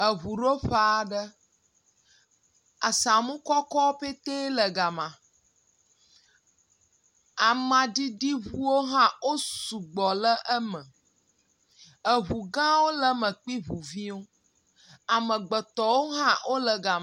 Eŋuɖoƒea aɖe, asamu kɔkɔ ƒete wole gama, amaɖiɖi ŋuwo hã wo sɔgbɔ le eme. Eŋu gawo le me kpli ŋu viwo amegbetɔwo hã wole gam...